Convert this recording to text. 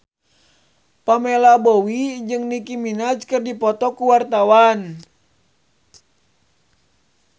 Pamela Bowie jeung Nicky Minaj keur dipoto ku wartawan